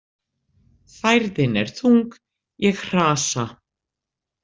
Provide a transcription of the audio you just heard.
Færðin er þung, ég hrasa.